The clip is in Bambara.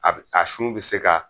A bi a sun bi se ka